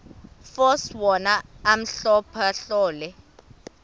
force wona ahlolahlole